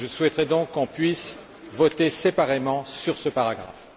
Je souhaiterais donc qu'on puisse voter séparément sur ce paragraphe.